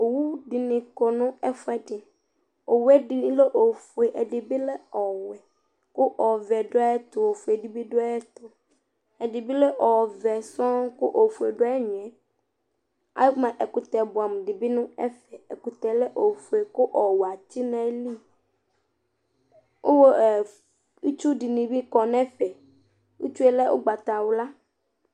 owu dini kɔ nu ɛfuɛ di owu ɛdini lɛ ofue edini lɛ ɔwɛ ku ɔvɛ du ayɛtu ɔfue di bi du ayɛtu ɛdibi lɛ ɔvɛ sɔn ku ofue du ayu ɛgnɔɛ akpa ɛkutɛ buamu di bi nu ɛfɛ ekutɛ bi lɛ ɔfue ku ɔwɛ atsi nu ayili ku itsu dini bi kɔ nu ɛfɛ itsu lɛ ugbata wla